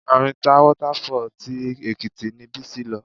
Arinta Water Fall tí Èkìtì ni Bísí lọ.